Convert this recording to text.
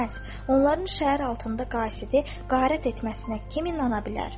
Onların şəhər altında qaizi qarət etməsinə kim inana bilər?